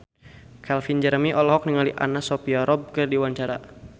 Calvin Jeremy olohok ningali Anna Sophia Robb keur diwawancara